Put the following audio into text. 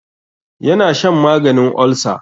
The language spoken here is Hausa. Ya na shan maganin olsa.